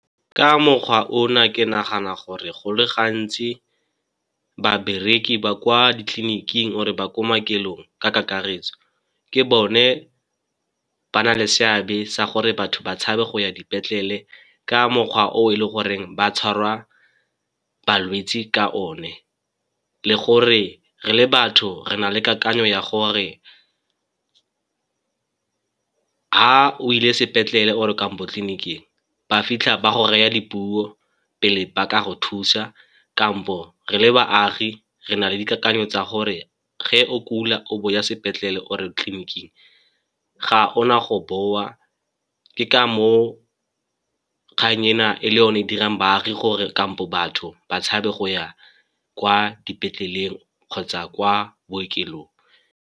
Ka mokgwa o na ke nagana gore go le gantsi babereki ba kwa ditleliniking or-e ba kwa maokelong ka kakaretso ke bone ba na le seabe sa gore batho ba tshabe go ya dipetlele, ka mokgwa o e le goreng ba tshwarwa balwetse ka one. Le gore re le batho re na le kakanyo ya gore ha o ile sepetlele or-e kampo tleliniking ba fitlha ba go raya dipuo pele ba ka go thusa, kampo re le baagi re na le dikakanyo tsa gore ge o kula o bo o ya sepetlele or-e tleliniking ga o na go boa, ke ka moo kgang ena e le yone e dirang baagi gore kampo batho ba tshabe go ya kwa dipetleleng kgotsa kwa bookelong.